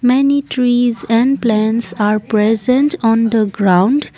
many trees and plants are present on the ground.